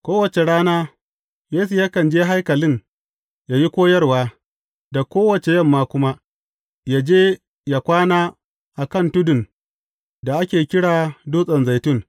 Kowace rana, Yesu yakan je haikalin ya yi koyarwa, da kowace yamma kuma, ya je ya kwana a kan tudun da ake kira Dutsen Zaitun.